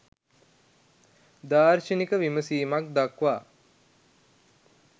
දාර්ශනික විමසීමක් දක්වා